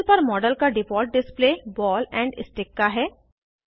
panel पर model का default display ball and stick का है